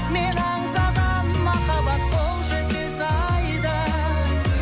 мен аңсаған махаббат қол жетпес айда